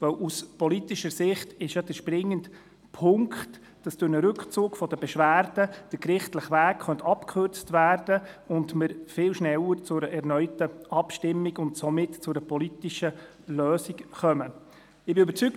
Denn aus politischer Sicht ist doch der springende Punkt, dass durch einen Rückzug der Beschwerden der gerichtliche Weg abgekürzt werden könnte und man viel schneller zu einer erneuten Abstimmung und somit zu einer politischen Lösung kommen könnte.